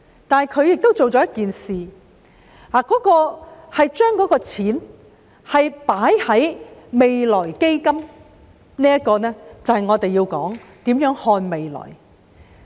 但是，他做了一件事，將錢放入未來基金，而這就是我們要討論的，如何看未來。